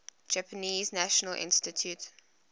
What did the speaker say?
japanese national institute